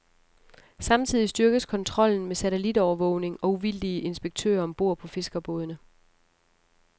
Samtidig styrkes kontrollen med satellitovervågning og uvildige inspektører om bord på fiskerbådene.